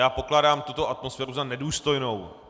Já pokládám tuto atmosféru za nedůstojnou.